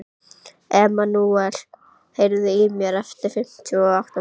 Emmanúel, heyrðu í mér eftir fimmtíu og átta mínútur.